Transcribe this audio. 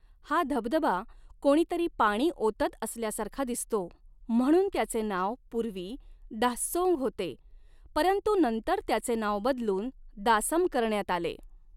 हा धबधबा कोणीतरी पाणी ओतत असल्यासारखा दिसतो म्हणून त्याचे नाव पूर्वी 'दाःसोंग' होते परंतु नंतर त्याचे नाव बदलून 'दासम' करण्यात आले.